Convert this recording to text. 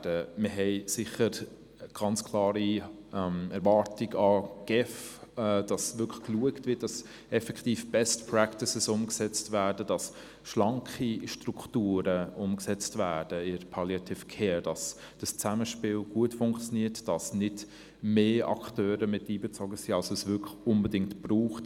Wir haben sicher die ganz klare Erwartung an die GEF, dafür zu schauen, dass es effektiv als Best-Practice umgesetzt wird, dass in der Palliative Care schlanke Strukturen aufgebaut werden, dass dieses Zusammenspiel gut funktioniert und dass nicht mehr Akteure mit einbezogen sind, als unbedingt nötig.